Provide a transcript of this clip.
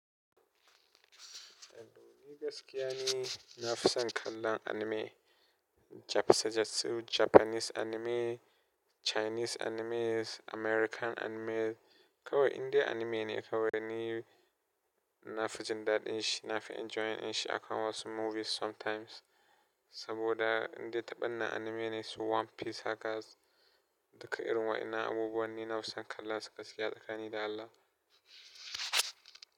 Gaskiya ne, na fi son kallon anime. Jap sa jatsu, Japanese anime, Chinese animes, American animes kawai Indian anime ne kawai da ni nafi jin dadin shi, nafi enjoying dinshi akan wasu movies sometimes saboda inde taɓa nan anime ne su One Piece hackers duka irin waɗannan abubuwa ni na fi son kalla su gaskiya da tsakani da Allah.